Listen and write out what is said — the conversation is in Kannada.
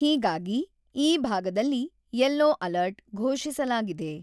ಹೀಗಾಗಿ ಈ ಭಾಗದಲ್ಲಿ 'ಯಲ್ಲೂ ಅಲರ್ಟ್ 'ಘೋಷಿಸಲಾಗಿದೆ.